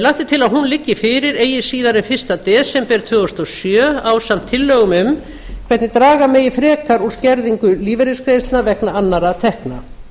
til að hún liggi fyrir eigi síðar en fyrsta desember tvö þúsund og sjö ásamt tillögum um hvernig draga megi frekar úr skerðingu lífeyrisgreiðslna vegna annarra tekna